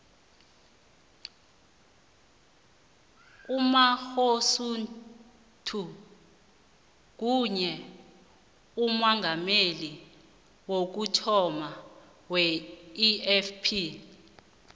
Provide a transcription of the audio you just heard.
umangosuthu nguye umongameli wokuthoma weifp